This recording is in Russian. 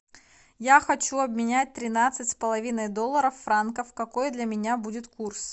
я хочу обменять тринадцать с половиной долларов франков какой для меня будет курс